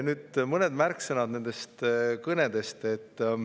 Nüüd mõned märksõnad nende kõnede kohta.